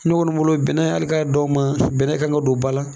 Ne kɔni bolo bɛnɛ hali k'a dan o ma bɛnɛ kan ka don ba la..